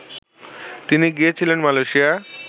তিনি গিয়েছিলেন, মালেয়শিয়া